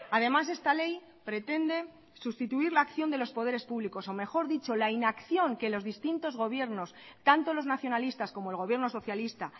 además esta ley pretende sustituir la acción de los poderes públicos o mejor dicho la inacción que los distintos gobiernos tanto los nacionalistas como el gobierno socialista